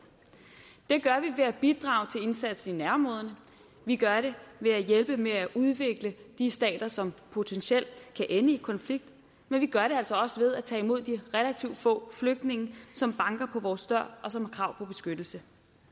det gør vi ved at bidrage til indsatsen i nærområderne vi gør det ved at hjælpe med at udvikle de stater som potentielt kan ende i konflikt men vi gør det altså også ved at tage imod de relativt få flygtninge som banker på vores dør og som har krav på beskyttelse